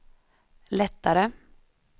lättare